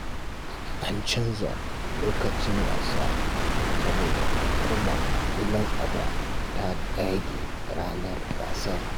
An canza lokacin wasa saboda hukumar ƙwallon kafa ta ɗage ranar gasar.